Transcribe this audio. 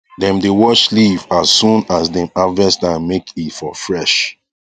dem dae wash leave as soon as dem harvest am make e for fresh